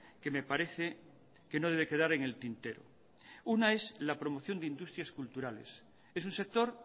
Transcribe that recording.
que me parece que no debe quedar en el tintero una es la promoción de industrias culturales es un sector